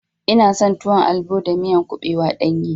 Ina son tuwon albo da miya kuɓewa ɗanye.